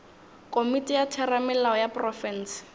komiti ya theramelao ya profense